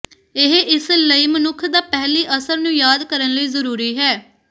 ਇਹ ਇਸ ਲਈ ਮਨੁੱਖ ਦਾ ਪਹਿਲੀ ਅਸਰ ਨੂੰ ਯਾਦ ਕਰਨ ਲਈ ਜ਼ਰੂਰੀ ਹੈ